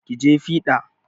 Ki je fiɗa!